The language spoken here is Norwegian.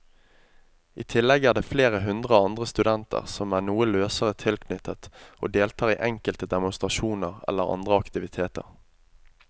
I tillegg er det flere hundre andre studenter som er noe løsere tilknyttet og deltar i enkelte demonstrasjoner eller andre aktiviteter.